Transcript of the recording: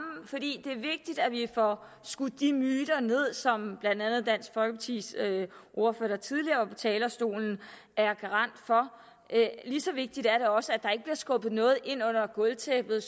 for skudt de myter ned som blandt andet dansk folkepartis ordfører der tidligere var på talerstolen er garant for lige så vigtigt er det også at der ikke skubbet noget ind under gulvtæppet